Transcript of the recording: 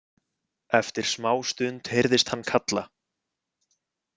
Eftir smá stund heyrðist hann kalla.